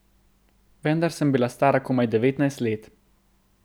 Vendar sem bila stara komaj devetnajst let.